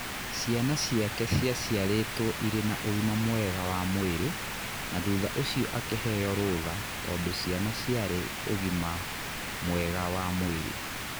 Ciana ciake ciaciarĩtwo irĩ na ũgima mwega wa mwĩrĩ na thutha ũcio akiheo rutha tondũ ciana ciarĩ ũgima mwega wa mwĩrĩ.